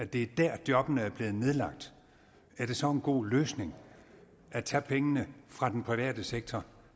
det er der jobbene er blevet nedlagt er det så en god løsning at tage pengene fra den private sektor